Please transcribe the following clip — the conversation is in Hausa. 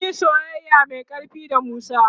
sunyi soyayya Mai ƙarfi da musa